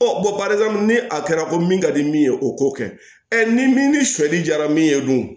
ni a kɛra ko min ka di min ye o k'o kɛ ni min ni sɔli jara min ye dun